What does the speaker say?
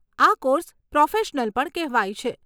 આ course professional પણ કહેવાય છે.